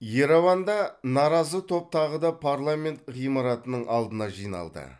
ереванда наразы топ тағы да парламент ғимаратының алдына жиналды